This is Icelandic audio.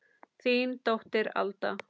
Þín dóttir Alda.